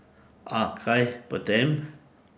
A kaj potem?